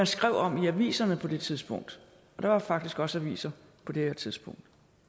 skrev om i aviserne på det tidspunkt der var faktisk også aviser på det tidspunkt